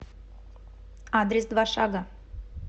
адрес два шага